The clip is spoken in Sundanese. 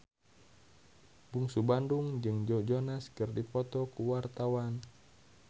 Bungsu Bandung jeung Joe Jonas keur dipoto ku wartawan